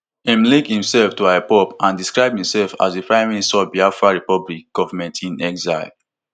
im link himself to ipob and describe himself as di prime minister of biafra republic governmentinexile